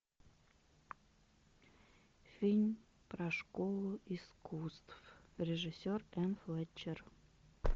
фильм про школу искусств режиссер энн флетчер